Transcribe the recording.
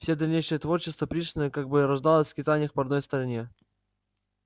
все дальнейшее творчество пришвина как бы рождалось в скитаниях по родной стране